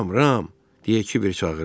Ram, Ram, deyə Kiber çağırdı.